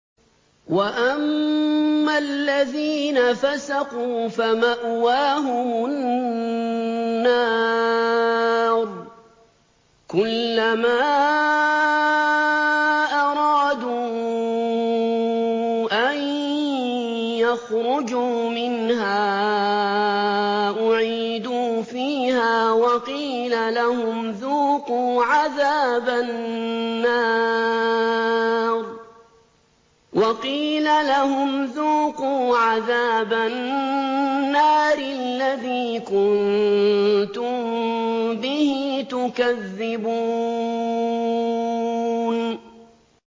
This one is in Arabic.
وَأَمَّا الَّذِينَ فَسَقُوا فَمَأْوَاهُمُ النَّارُ ۖ كُلَّمَا أَرَادُوا أَن يَخْرُجُوا مِنْهَا أُعِيدُوا فِيهَا وَقِيلَ لَهُمْ ذُوقُوا عَذَابَ النَّارِ الَّذِي كُنتُم بِهِ تُكَذِّبُونَ